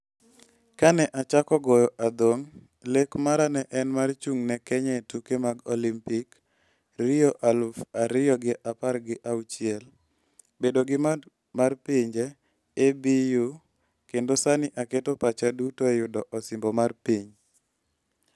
"Kane achako goyo adhong' lek mara ne en mar chung' ne Kenya e tuke mag Olimpik (Rio aluf ariyo gi apar gi auchiel), bedo gi band mar pinje (ABU) kendo sani aketo pacha duto e yudo osimbo mar Piny".